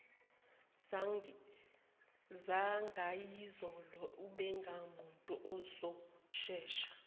zangayizolo ubengumuntu ozoshesha